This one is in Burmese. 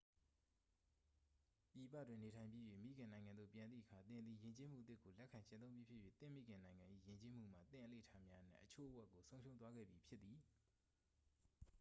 ပြည်ပတွင် နေထိုင်ပြီး၍ မိခင်နိုင်ငံသို့ ပြန်သည့်အခါ သင်သည် ယဉ်ကျေးမှုအသစ်ကို လက်ခံကျင့်သုံးပြီးဖြစ်၍ သင့်မိခင်နိုင်ငံ၏ ယဉ်ကျေးမှုမှ သင့်အလေ့အထများအနက် အချို့အဝက်ကို ဆုံးရှုံးသွားခဲ့ပြီဖြစ်သည်